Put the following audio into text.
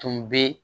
Tun bɛ